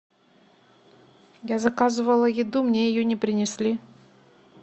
я заказывала еду мне ее не принесли